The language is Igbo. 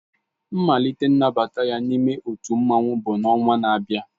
Mmalite nnabata ya n'ime otu mmanwu bụ ọnwa na-abịa